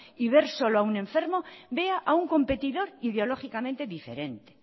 y ver solo a un enfermo vea a un competidor ideológicamente diferente